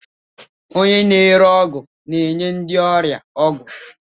Onye na-ere ọgwụ na-enye ndị ọrịa ọgwụ.